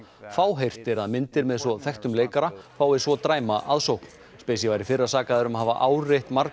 fáheyrt er að myndir með svo þekktum leikara fái svo dræma aðsókn var í fyrra sakaður um að hafa áreitt marga